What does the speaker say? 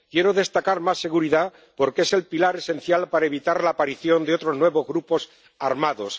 Quiero destacar más seguridad, porque es el pilar esencial para evitar la aparición de otros nuevos grupos armados.